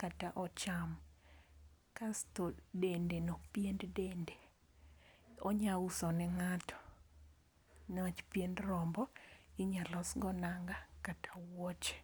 kata ocham. Kasto dende no pien dende onya uso ne ng'ato niwach piend rombo inya losgo nanga kata wuoche.